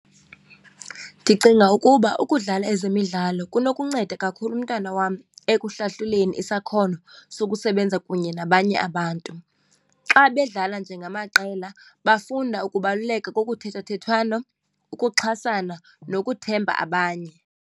Ndicinga ukuba ukudlala ezemidlalo kunokunceda kakhulu umntana wam ekuhlahluleni isakhono sokusebenza kunye nabanye abantu. Xa bedlala njengamaqela bafunda ukubaluleka kokuthethethwano, ukuxhasana nokuthemba abanye.